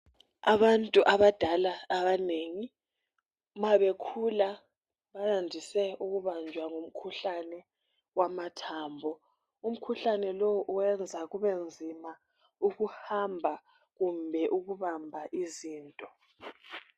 Abantu abadala abanengi ma bekhula bandise ukubanjwa ngumkhuhlane wamathambo. Umkhuhlane lowu uyenza kubenzima ukuhamba kumbe ukubamba izinto.